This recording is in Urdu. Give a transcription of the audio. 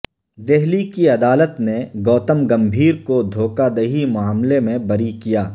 دہلی کی عدالت نے گوتم گمبھیر کو دھوکہ دہی معاملے میں بری کیا